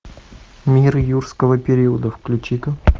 мир юрского периода включи ка